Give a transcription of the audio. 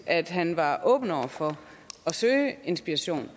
at han var åben over for at søge inspiration